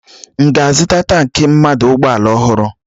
M ga-azụta tankị mmanụ ụgbọala ọhụrụ?